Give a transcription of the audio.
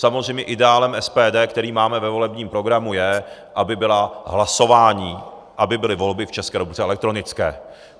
Samozřejmě ideálem SPD, který máme ve volebním programu, je, aby byla hlasování, aby byly volby v České republice elektronické.